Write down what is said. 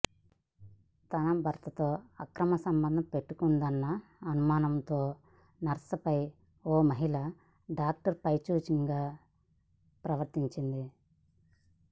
తన భర్తతో అక్రమ సంబంధం పెట్టుకుందన్న అనుమానంతో నర్సుపై ఓ మహిళా డాక్టర్ పైశాచికంగా ప్రవర్తించింది